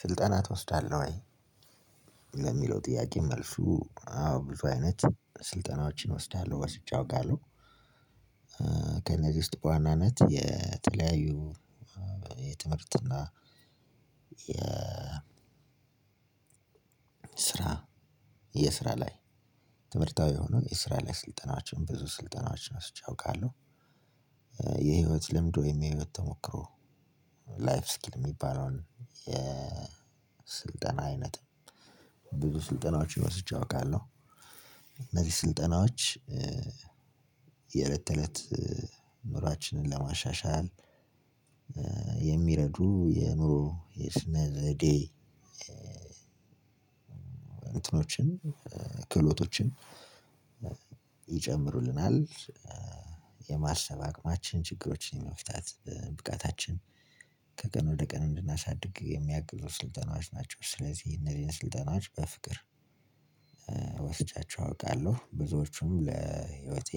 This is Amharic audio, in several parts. ስልጠና ትወስዳለህ ወይ? ለሚለው ጥያቄ መልሱ አዎ ብዙ አይነት ስልጠናዎችን እወስዳለሁ ወስጄ አውቃለሁ። ከነዚህ ውስጥ በዋናነት የተለያዩ የትምህርት እና የ ስራ የስራ ላይ ትምህርታዊ የሆነ የስራ ላይ ስልጠናቸውን ብዙ ስልጠናቸውን ወስጄ አውቃለሁ። የህይወት ልምድ ወይም የህይወት ተሞክሮ ላይፍ ስኪል የሚባለውን የስልጠና አይነት ብዙ ስልጠናዎች ወስጄ አውቃለሁ። እነዚህ ስልጠናዎች የእለት ተእለት ኑሯችንን ለማሻሻል የሚረዱ የኑሮ የስነ ዘዴ እንትኖችን ክህሎቶችን ይጨምሩልናል። የማሰብ አቅማችን ችግሮችን የመፍታት ብቃታችን ከቀን ወደ ቀን እንድናሳድግ የሚያግዙ ስልጠናዎች ናቸው ስለዚህ እነዚህን ስልጠናዎች በፍቅር ወስጃቸው አውቃለሁ ብዙዎቹም ለህይወቴ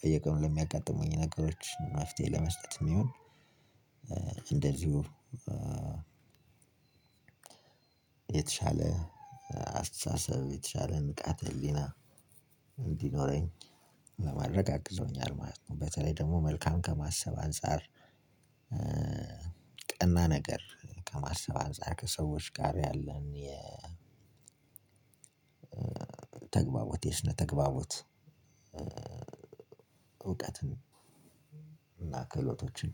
በየቀኑ ለሚያጋጥሙኝ ነገሮች መፍትሄ ለመስጠትም ይሁን የሚሆን እንደዚሁ የተሻለ አስተሳሰብ የተሻለ ንቃት ህሊና እንዲኖረኝ ለማድረግ አግዞሆኛል ማለት ነው። በተለይ ደግሞ መልካም ከማሰብ አንፃር ቀና ነገር ከማሰባሰብ ከሰዎች ጋር ያለን የ ተግባቦት የስነ ተግባቦት እውቀትን እና ክህሎቶችን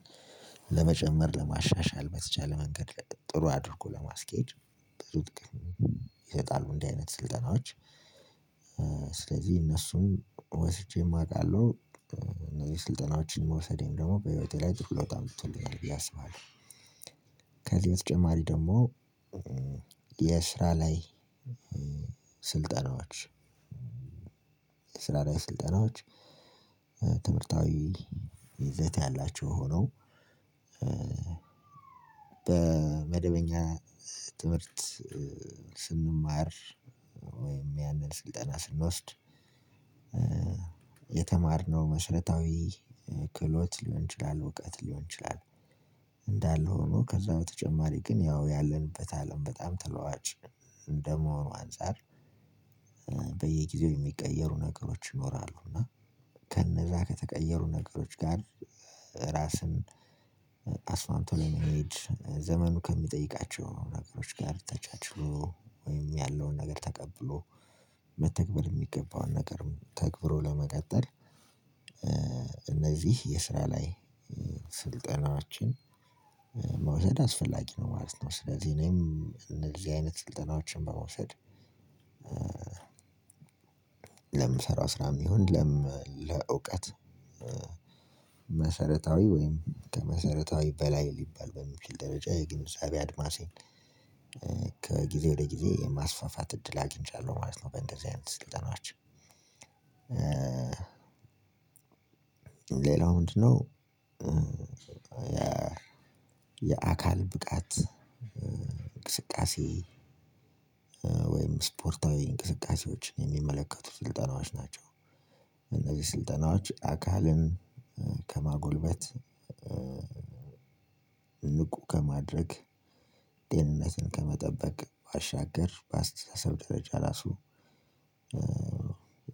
ለመጨመር ለማሻሻል በተቻለ መንገድ ጥሩ አድርጎ ለማስኬድ በሩት ግን እንዲህ አይነት ስልጠናዎች ስለዚህ እነሱን ወስጄም አቃለሁ እነዚህ ስልጠናዎችን መውሰዴን ደግሞ በህይወቴ ላይ ትኩረት አምጥቶኛል ብዬ አስባለው። ከዚህ በተጨማሪ ደግሞ የስራ ላይ ስራ ላይ ስልጠናዎች ትምህርታዊ ይዘት ያላቸው ሆነው በመደበኛ ትምህርት ስንማር ወይም ያንን ስልጠና ስንወስድ የተማርነው መሰረታዊ ክህሎት ሊሆን ይችላል እውቀት ሊሆን ይችላል እንዳለ ሆኖ ከዛ በተጨማሪ ግን ያው ያልንበት አለም በጣም ተለዋዋጭ እንደመሆኑ አንፃር በየጊዜው የሚቀየሩ ነገሮች ይኖራሉ እና ከነዛ ከተቀየሩ ነገሮች ጋር ራስን አስማምቶ የሚሄድ ዘመኑ ከሚጠይቃቸው ነገሮች ጋር ተቻችሎ ወይም ያለውን ነገር ተቀብሎ መተግበር የሚገባውን ነገር ተግብሮ ለመቀጠል እነዚ የስራ ላይ ስልጠናዎችን መውሰድ አስፈላጊ ነው ማለት ነው ስለዚህ እኔም እንደዚ አይነት ስልጠናዎችን በመውሰድ ለምንሰራው ስራ የሚሆን ለእዉቀት መሰረታዊ ወይም ከመሰረታዊ በላይ ልባል በሚችል ደረጃ የግንዛቤ አድማሴን ከግዜ ወደ ግዜ ማስፋፋት እድል አግንቻለው በእንደዚ አይነት ስልጠናዎች ሌላው ምንድነው የአካል ብቃት እንቅስቃሴ ወይም ስፖርታዊ እንቅስቃሴዎችን የሚመለከቱት ስልጠናዎች ናቸው። እነዚህ ስልጠናዎች አካልን ከማጎልበት ንቁ ከማድረግ ደህንነትን ከመጠበቅ ባሻገር በአስተሳሰብ ደረጃ ራሱ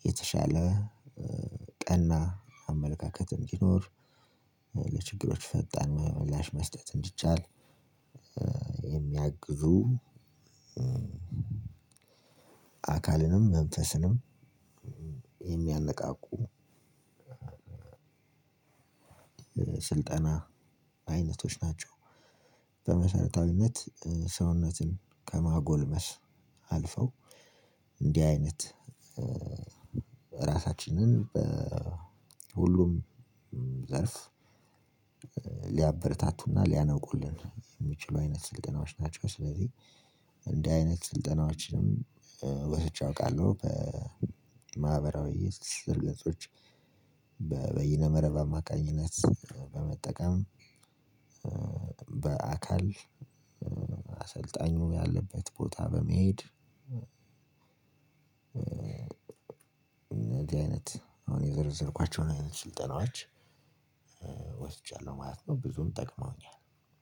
የተሻለ ቀና አመለካከት እንዲኖር ለችግሮች ፈጣን ምላሽ መስጠት እንዲቻል የሚያግዙ አካልንም መንፈስንም የሚያነቃቁ ስልጠና አይነቶች ናቸው። በመሰረታዊነት ሰውነትን ከማጎልመስ አልፈው እንዲህ አይነት ራሳችንን በሁሉም ዘርፍ ሊያበረታቱና ሊያነቁልን የሚችሉ አይነት ስልጠናዎች ናቸው ስለዚህ እንዲህ አይነት ስልጠናዎችንም ወስጄ አውቃለሁ። በማህበራዊ ትስስር ገጾች በይነ መረብ አማካኝነት በመጠቀም በአካል አሰልጣኙ ያለበት ቦታ በመሄድ እነዚህ አይነት አሁን የዘረዘርኳቸውን አይነት ስልጠናዎች ወስጃለሁ ማለት ነው። ብዙም ጠቅመውኛል።